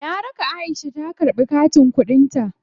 Na raka Aisha ta karɓi katin kuɗin ta.